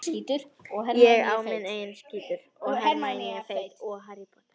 Var vinurinn þá ekki að rugla neitt eins og hann hélt?